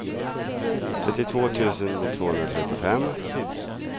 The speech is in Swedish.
trettiotvå tusen tvåhundratrettiofem